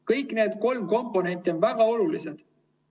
Kõik need kolm komponenti on väga olulised.